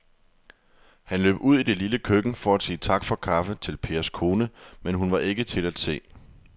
Han løb ud i det lille køkken for at sige tak for kaffe til Pers kone, men hun var ikke til at se.